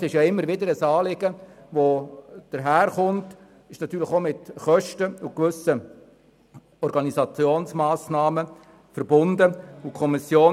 Es ist immer wieder ein Anliegen, welches jedoch stets mit Kosten und Organisationsmassnahmen verbunden ist.